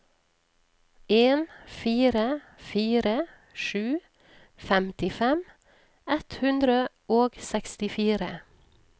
en fire fire sju femtifem ett hundre og sekstifire